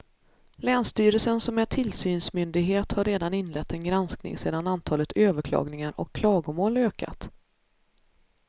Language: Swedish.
Länsstyrelsen som är tillsynsmyndighet har redan inlett en granskning sedan antalet överklagningar och klagomål ökat.